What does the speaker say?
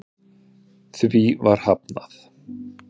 Því var hafnað